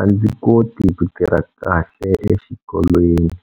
a ndzi koti ku tirha kahle exikolweni.